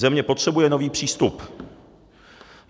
Země potřebuje nový přístup.